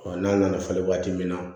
n'a nana falen waati min na